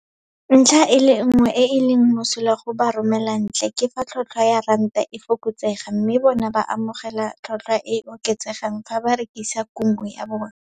Ntlha e le nngwe e e leng mosola go baromelantle ke fa tlhotlhwa ya ranta e fokotsega mme bona ba omogela tlhotlhwa e e oketsegang fa ba rekisa kumo ya bona.